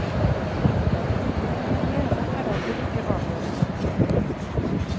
God hygiene er derfor ikke avgjørende.